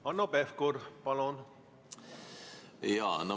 Hanno Pevkur, palun!